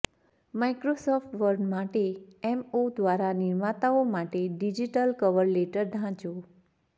Microsoft Word માટે એમઓ દ્વારા નિર્માતાઓ માટે ડિજિટલ કવર લેટર ઢાંચો